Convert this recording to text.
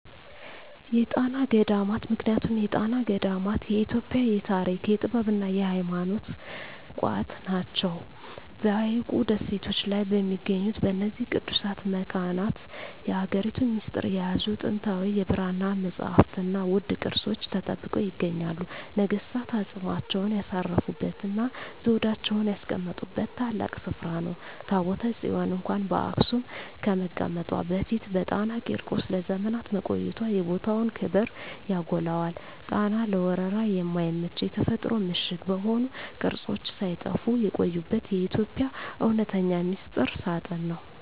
የጣና ገዳማት ምክንያቱም የጣና ገዳማት የኢትዮጵያ የታሪክ፣ የጥበብና የሃይማኖት ቋት ናቸው። በሐይቁ ደሴቶች ላይ በሚገኙት በእነዚህ ቅዱሳት መካናት፣ የሀገሪቱን ሚስጥር የያዙ ጥንታዊ የብራና መጻሕፍትና ውድ ቅርሶች ተጠብቀው ይገኛሉ። ነገሥታት አፅማቸውን ያሳረፉበትና ዘውዳቸውን ያስቀመጡበት ታላቅ ስፍራ ነው። ታቦተ ጽዮን እንኳን በአክሱም ከመቀመጧ በፊት በጣና ቂርቆስ ለዘመናት መቆየቷ የቦታውን ክብር ያጎላዋል። ጣና ለወረራ የማይመች የተፈጥሮ ምሽግ በመሆኑ፣ ቅርሶች ሳይጠፉ የቆዩበት የኢትዮጵያ እውነተኛ ሚስጥር ሳጥን ነው።